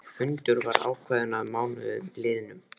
Fundur var ákveðinn að mánuði liðnum.